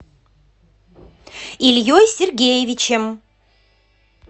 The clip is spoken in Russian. ильей сергеевичем